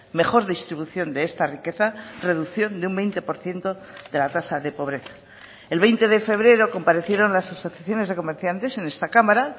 mejor distribución de esta riqueza reducción de un veinte por ciento de la tasa de pobreza el veinte de febrero comparecieron las asociaciones de comerciantes en esta cámara